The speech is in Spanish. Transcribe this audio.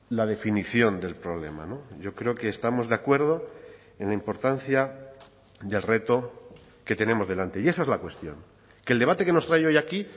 la definición del problema yo creo que estamos de acuerdo en la importancia del reto que tenemos delante y esa es la cuestión que el debate que nos trae hoy aquí